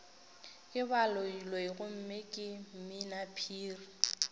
ke baloiloi gomme ke mminaphiri